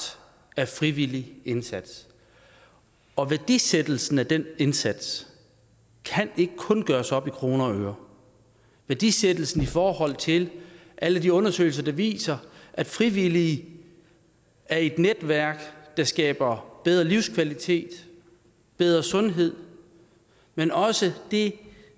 af frivillig indsats og værdisættelsen af den indsats kan ikke kun gøres op i kroner og øre værdisættelsen i forhold til alle de undersøgelser der viser at frivillige er i netværk der skaber bedre livskvalitet og bedre sundhed men også det